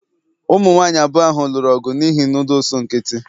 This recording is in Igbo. ụmụ nwanyị abụọ ahụ lụrụ ọgụ n'ihi noodles nkịtị